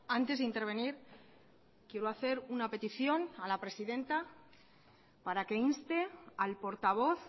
antes de intervenir quiero hacer una petición a la presidenta para que inste al portavoz